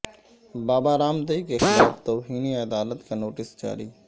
بابا رام دیو کے خلاف توہین عدالت کا نوٹس جاری